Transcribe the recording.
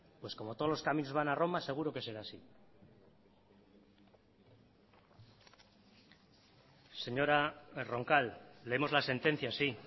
pues como todos los caminos van a roma seguro que será así señora roncal leemos la sentencia sí